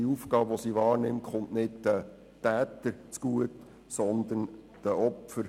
Diese Aufgabe kommt nicht den Tätern zugute, sondern den Opfern.